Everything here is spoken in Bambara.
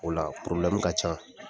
O la ka can.